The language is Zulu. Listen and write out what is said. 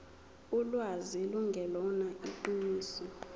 ulwazi lungelona iqiniso